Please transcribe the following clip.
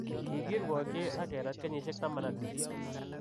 Kikirwokyi ak kerat kenyisiek 18.